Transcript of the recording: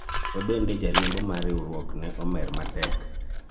kendo bende jariembo mar riwruok ne omer matek